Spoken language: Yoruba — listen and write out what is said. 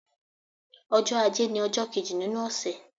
Ọjọ́ ajé ni ọjọ́ kéjì nínú ọ̀sẹ̀.